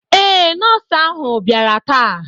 Eé, Nọọsụ ahu biara ta